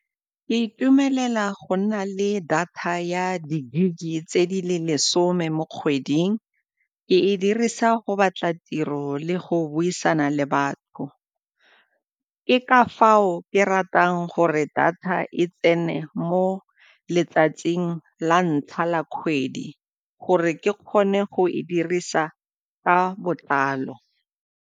Ke itumelela go nna le data ya di-gig-e tse di le lesome mo kgweding, ke e dirisa go batla tiro le go buisana le batho, ke ka fao ke ratang gore data e tsene mo letsatsing la ntlha la kgwedi gore ke kgone go e dirisa ka botlalo.